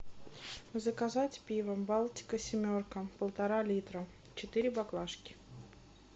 заказать пиво балтика семерка полтора литра четыре баклашки